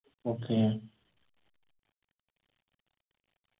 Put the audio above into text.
okay